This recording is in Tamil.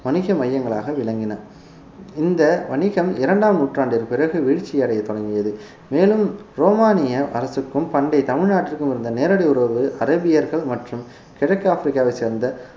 வணிக மையங்களாக விளங்கின இந்த வணிகம் இரண்டாம் நூற்றாண்டிற்கு பிறகு வீழ்ச்சி அடைய தொடங்கியது மேலும் ரோமானிய அரசுக்கும் பண்டை தமிழ்நாட்டிற்கும் இருந்த நேரடி உறவுகள் அரேபியர்கள் மற்றும் கிழக்கு ஆப்பிரிக்காவை சேர்ந்த